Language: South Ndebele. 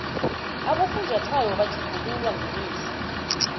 abofunjathwako batjhugululwa ngemihla